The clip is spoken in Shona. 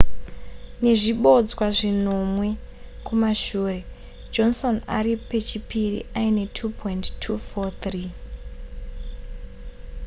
nezvibodzwa zvinomwe kumashure johnson ari pechipiri aine 2,243